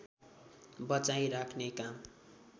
बचाई राख्ने काम